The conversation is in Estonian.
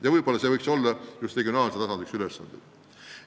Võib-olla just see võiks olla üks regionaalse tasandi ülesandeid.